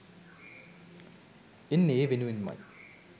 එන්නේ ඒ වෙනුවෙන්මයි